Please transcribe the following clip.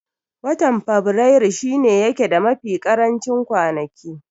Watan faberaru shi ne yake da mafi karancin kwanaki